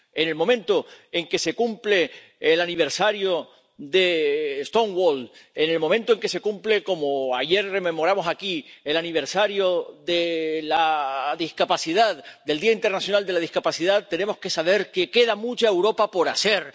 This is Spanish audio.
En el momento en que se cumple el aniversario de Stonewall, en el momento en que se cumple ―como ayer rememorábamos aquí― el aniversario del Día Internacional de la Discapacidad, tenemos que saber que queda mucha Europa por hacer